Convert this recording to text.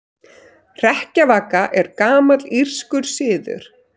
Hrekkjavaka er gamall írskur siður.